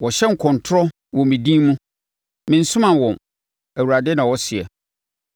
Wɔhyɛ nkɔntorɔ wɔ me din mu. Mensomaa wɔn,” Awurade na ɔseɛ.